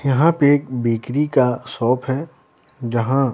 यहाँ पे एक बेकरी का शॉप है जहाँ--